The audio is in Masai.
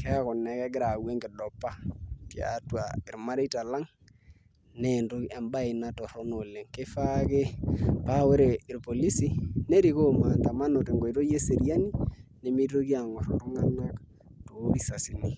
keeku naa egira ayau enkidopa tiatua irmareita lang' naa entoki embaye ina torrono oleng kifaa ake paa ore irpolisi nerikoo maandamano tenkoitoi eseriani nemitoki aangorr iltung'anak toorisasini.